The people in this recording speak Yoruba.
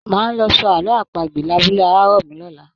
Máa lọ sọ àlọ́ àpagbè labúlé Arárọ̀mí lọ̀la